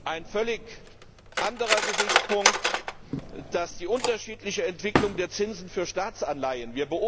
Ein völlig anderer Gesichtspunkt ist die unterschiedliche Entwicklung der Zinsen für Staatsanleihen.